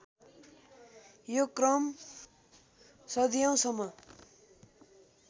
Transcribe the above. यो क्रम सदियौँसम्म